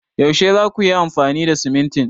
Yaushe za kuyi amfani da simintin?